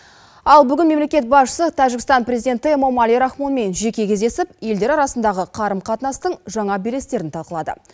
ал бүгін мемлекет басшысы тәжікстан президенті эмомали рахмонмен жеке кездесіп елдер арасындағы қарым қатынастың жаңа белестерін талқылады